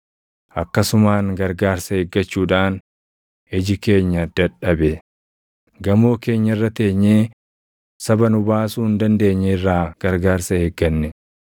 Akkasumaan gargaarsa eeggachuudhaan iji keenya dadhabe; gamoo keenya irra teenyee saba nu baasuu hin dandeenye irraa gargaarsa eegganne.